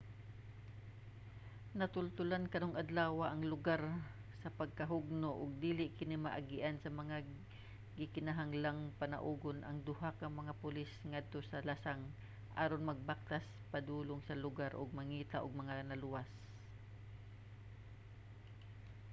natultolan karong adlawa ang lugar sa pagkahugno ug dili kini maagian nga gikinahanglang panaugon ang duha ka mga pulis ngadto sa lasang aron magbaktas padulong sa lugar og mangita ug mga naluwas